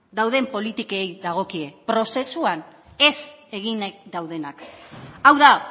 dauden politikei dagokie prozesuan ez eginak daudenak hau da